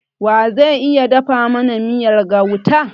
Wa ze iya dafa mana miyar gauta?